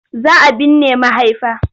Za a binne mahaifa.